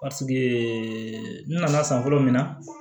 n nana san fɔlɔ min na